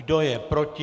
Kdo je proti?